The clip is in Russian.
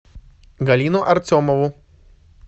галину артемову